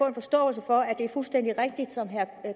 en forståelse for at det er fuldstændig rigtigt som herre